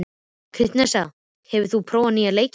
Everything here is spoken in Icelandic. Kristensa, hefur þú prófað nýja leikinn?